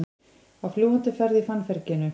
Á fljúgandi ferð í fannferginu